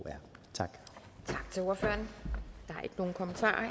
tak til ordføreren